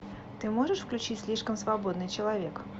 ты можешь включить слишком свободный человек